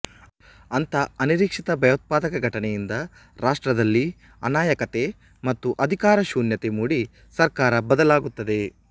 ಅಂಥ ಅನಿರೀಕ್ಷಿತ ಭಯೋತ್ಪಾದಕ ಘಟನೆಯಿಂದ ರಾಷ್ಟ್ರದಲ್ಲಿ ಅನಾಯಕತೆ ಮತ್ತು ಅಧಿಕಾರಶೂನ್ಯತೆ ಮೂಡಿ ಸರ್ಕಾರ ಬದಲಾಗುತ್ತದೆ